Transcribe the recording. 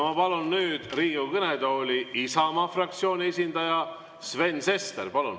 Ma palun nüüd Riigikogu kõnetooli Isamaa fraktsiooni esindaja Sven Sesteri.